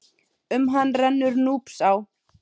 Um hann rennur Núpsá.